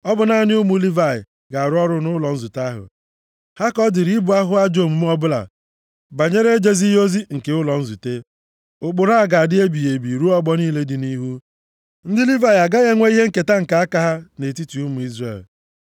Ọ bụ naanị ụmụ Livayị ga-arụ ọrụ nʼụlọ nzute ahụ. Ha ka ọ dịrị ibu ahụhụ ajọ omume ọbụla banyere ejezighị ozi nke ụlọ nzute. Ụkpụrụ a ga-adị ebighị ebi ruo ọgbọ niile dị nʼihu. Ndị Livayị agaghị enwe ihe nketa nke aka ha nʼetiti ụmụ Izrel.